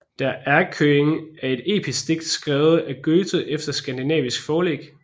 Der Erlkönig er et episk digt skrevet af Goethe efter skandinavisk forlæg